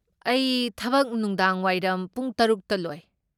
ꯑꯩ ꯊꯕꯛ ꯅꯨꯡꯗꯥꯡꯋꯥꯏꯔꯝ ꯄꯨꯡ ꯇꯔꯨꯛꯇ ꯂꯣꯏ꯫